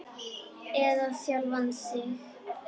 Eða sjálfan þig.